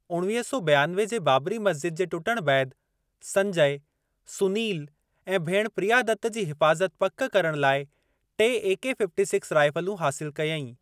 उणवीह सौ बियानवे जे बाबरी मस्जिद जे टुटण बैदि, संजय सुनिल ऐं भेण प्रिया दत्त जी हिफ़ाज़त पकि करण लाइ टे एके-फ़िफ़्टी सिक्स राइफ़लूं हासिल कयईं।